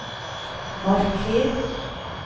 marker